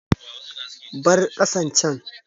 Bar ƙasan can!